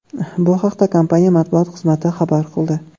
Bu haqda kompaniya matbuot xizmati xabar qildi.